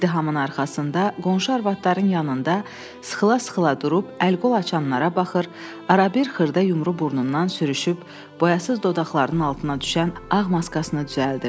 İzdihamın arxasında, qonşu arvadların yanında sıxıla-sıxıla durub əl-qol açanlara baxır, arabir xırda yumru burnundan sürüşüb, boyasız dodaqlarının altına düşən ağ maskasını düzəldirdi.